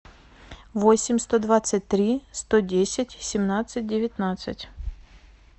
восемь сто двадцать три сто десять семнадцать девятнадцать